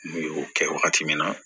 N y'o kɛ wagati min na